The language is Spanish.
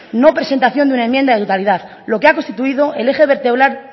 no presentación de una enmienda de totalidad lo que ha constituido el eje vertebral